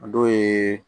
A dɔw ye